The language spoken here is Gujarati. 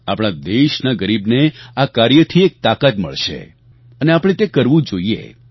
આપણા દેશના ગરીબને આ કાર્યથી એક તાકાત મળશે અને આપણે તે કરવું જોઈએ